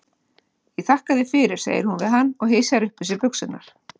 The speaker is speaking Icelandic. Ég þakka þér fyrir, segir hún við hann og hysjar upp um sig buxurnar.